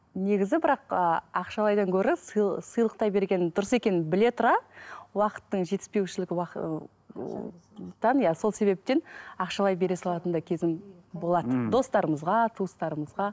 негізі бірақ ы ақшалайдан гөрі сыйлықтай берген дұрыс екенін біле тұра уақыттың жетіспеушілік сол себептен ақшалай бере салатын да кезім болады ммм достарымызға туыстарымызға